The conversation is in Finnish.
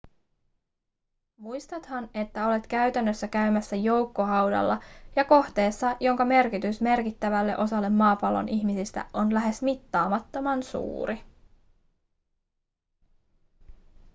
muistathan että olet käytännössä käymässä joukkohaudalla ja kohteessa jonka merkitys merkittävälle osalle maapallon ihmisistä on lähes mittaamattoman suuri